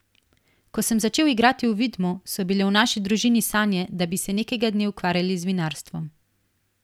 Ko sem začel igrati v Vidmu, so bile v naši družini sanje, da bi se nekega dne ukvarjali z vinarstvom.